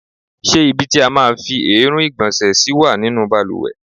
Ṣé ibi tí a máa ń fi èérún ìgbọ̀nsẹ̀ sí wà nínú bàlùwẹ̀?